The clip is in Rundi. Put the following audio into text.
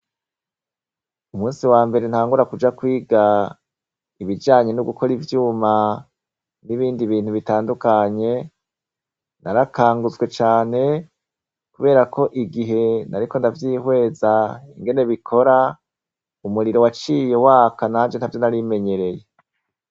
Umusi wambere ntangura kuja kwiga ibijanye no gukora ivyuma, n'ibindi bintu bitandukanye, narakangutswe cane ,kubera ko igihe nariko ndavyihweza, ingene bikora umuriro waciye waka nanje ntavyo nari menyereye.